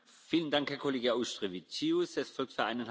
Herr Präsident!